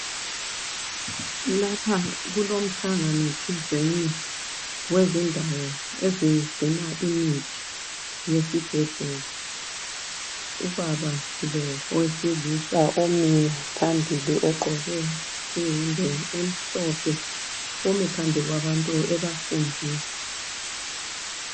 Lapha kulomhlangano thizeni wezindawo ezigcina imithi yesibhedlela ubaba lo owesilisa omi phambili ogqoke iyembe emhlophe umi phambi kwabantu ebafundisa.